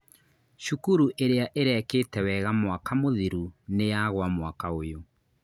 Cukuru iria irekĩte wega mwaka mũthiru nĩyagua mwaka ũyũ